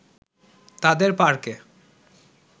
তাদের পার্কে